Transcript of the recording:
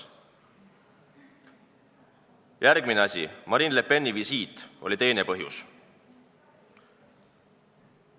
Järgmine asi, Marine Le Peni visiit oli teine põhjus.